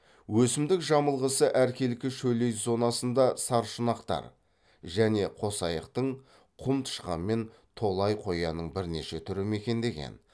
өсімдік жамылғысы әркелкі шөлейт зонасында саршұнақтар және қосаяқтың құм тышқан мен толай қоянның бірнеше түрі мекендеген